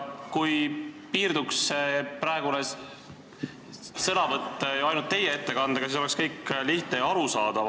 Kui piirduks praegu ainult teie ettekandega, siis oleks kõik lihtne ja arusaadav.